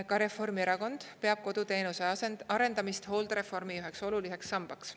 Ka Reformierakond peab koduteenuse arendamist hooldereformi üheks oluliseks sambaks.